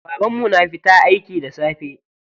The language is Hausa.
Babanmu na fita aiki da safe.